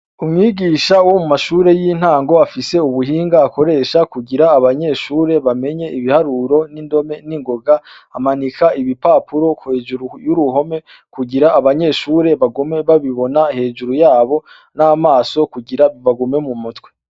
Umwigisha wo mu mashure y'intango afise ubuhinga akoresha kugira abanyeshure bamenye ibiharuro n'indome n'ingoga, amanika ibipapuro hejuru y'uruhome, kugira abanyeshure bagume babibona hejuru yabo n'amaso kugira bibagume mu mutwe.